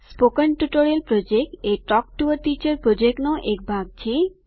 spoken tutorial project એ talk to a teacher પ્રોજેક્ટનો એક ભાગ છે